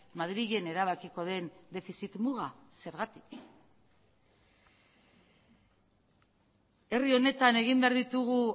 madrilen erabakiko den defizit muga zergatik herri honetan egin behar ditugu